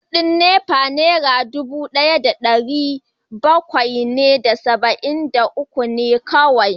Kudin NEPA Naira dubu daya da dari bakwai da saba’in da uku ne kawai